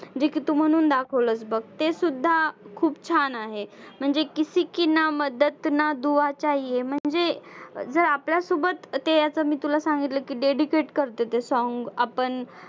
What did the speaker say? जे की तू म्हणून दाखवलंस बघ तेसुद्धा खूप छान आहे. म्हणजे किसी की ना मदद ना दुआ चाहिये म्हणजे जर आपल्यासोबत ते असं मी तुला सांगितलं dedicate करतं ते song आपण